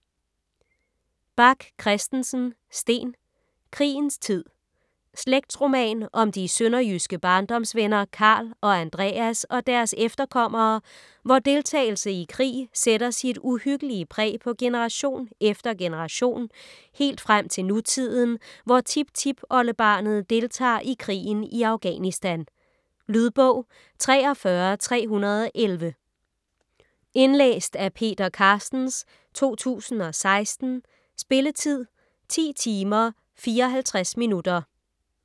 Bach Christensen, Steen: Krigens tid Slægtsroman om de sønderjyske barndomsvenner Karl og Andreas og deres efterkommere, hvor deltagelse i krig sætter sit uhyggelig præg på generation efter generation, helt frem til nutiden, hvor tiptipoldebarnet deltager i krigen i Afghanistan. Lydbog 43311 Indlæst af Peter Carstens, 2016. Spilletid: 10 timer, 54 minutter.